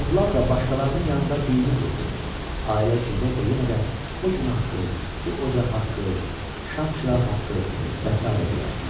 Andlar da başqalarının yanında dini olurdu, ailə içində isə yenə də o gün haqqı, bu ocaq haqqı, şam çıraq haqqı və sairə deyərdilər.